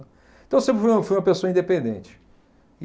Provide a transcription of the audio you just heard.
Então, eu sempre fui uma fui uma pessoa independente.